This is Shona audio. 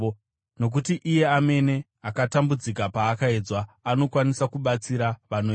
Nokuti iye amene akatambudzika paakaedzwa, anokwanisa kubatsira vanoedzwa.